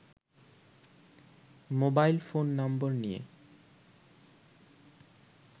mobile phone number নিয়ে